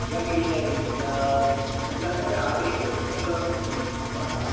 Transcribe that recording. നല്ല ക്ലീൻ ആയിരിക്കും എല്ലാ വല്ലാത്തൊരു അറിവ് നല്ലോണം കിട്ടും യാത്രയിൽ